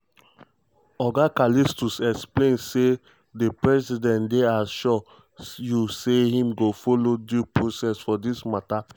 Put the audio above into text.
oga callistus explain say "di president dey assure you say im go follow due process for dis matter